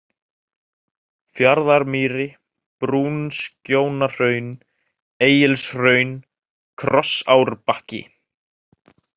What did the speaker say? Fjarðarmýri, Brúnskjónahraun, Egilshraun, Krossárbakki